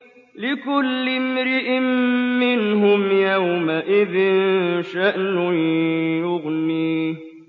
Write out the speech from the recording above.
لِكُلِّ امْرِئٍ مِّنْهُمْ يَوْمَئِذٍ شَأْنٌ يُغْنِيهِ